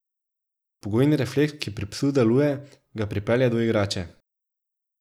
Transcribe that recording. Pogojni refleks, ki pri psu deluje, ga pripelje do igrače.